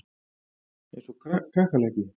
Eins og kakkalakki.